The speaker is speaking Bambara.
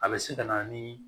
A bɛ se ka na ni